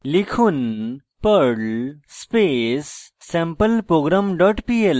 লিখুন perl space sampleprogram pl